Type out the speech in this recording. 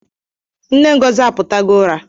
Nne Ngozi aputago ụra